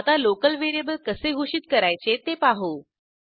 आता local variable कसे घोषित करायचे ते पाहू